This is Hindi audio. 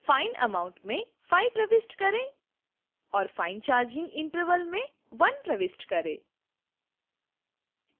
fine amount में 5 प्रविष्ट करें और fine charging interval में 1 प्रविष्ट करें